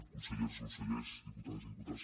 conselleres consellers diputades i diputats